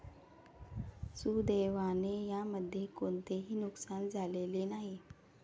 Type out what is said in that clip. सुदैवाने यामध्ये कोणतेही नुकसान झालेले नाही.